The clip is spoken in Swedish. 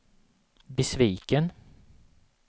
besviken